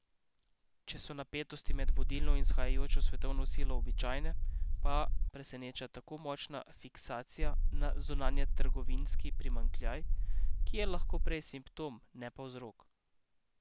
Če so napetosti med vodilno in vzhajajočo svetovno silo običajne, pa preseneča tako močna fiksacija na zunanjetrgovinski primanjkljaj, ki je lahko prej simptom, ne pa vzrok.